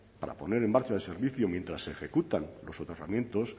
para poner en marcha el servicio mientras se ejecutan los soterramientos